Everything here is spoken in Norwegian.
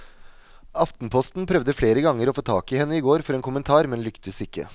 Aftenposten prøvde flere ganger å få tak i henne i går for en kommentar, men lyktes ikke.